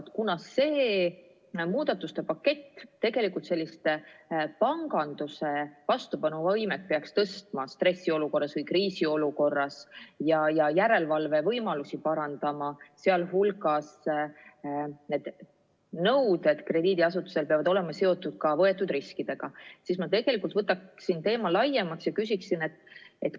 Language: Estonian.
Kuna see muudatuste pakett peaks tegelikult panganduse vastupanuvõimet stressiolukorras või kriisiolukorras suurendama ja järelevalvevõimalusi parandama, sealhulgas peavad krediidiasutustele esitatavad nõuded olema seotud ka võetud riskidega, siis ma vaatleksin seda teemat laiemalt ja küsiksin järgmist.